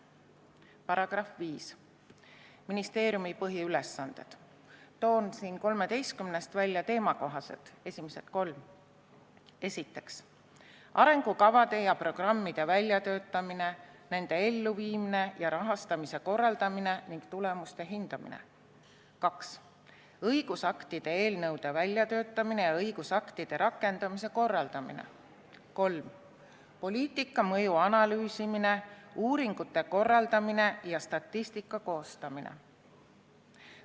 " Põhimääruse § 5 "Ministeeriumi põhiülesanded" puhul toon kolmeteistkümnest punktist välja esimesed kolm, teemakohased: "1) arengukavade ja programmide väljatöötamine, nende elluviimise ja rahastamise korraldamine ning tulemuste hindamine; 2) õigusaktide eelnõude väljatöötamine ja õigusaktide rakendumise korraldamine; 3) poliitika mõju analüüsimine, uuringute korraldamine ja statistika koostamine".